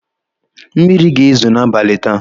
Mmiri ga-ezo n'abalị taa.